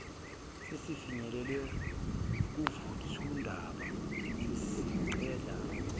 sesifinyelele kuvuthwandaba sesicela